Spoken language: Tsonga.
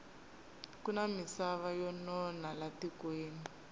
kuna misava yo nona la tikweni